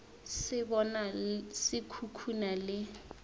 se bona se khukhuna le